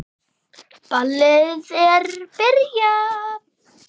Ballið er byrjað.